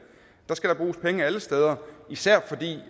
der skal da bruges penge alle steder især fordi